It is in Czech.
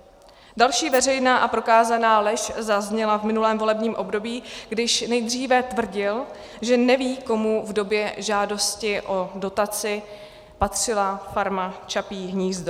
Další veřejná a prokázaná lež zazněla v minulém volebním období, když nejdříve tvrdil, že neví, komu v době žádosti o dotaci patřila farma Čapí hnízdo.